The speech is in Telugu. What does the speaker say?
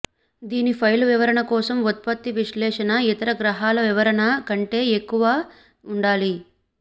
దీని ఫైలు వివరణ కోసం ఉత్పత్తి విశ్లేషణ ఇతర గ్రహాల వివరణ కంటే ఎక్కువ ఉండాలి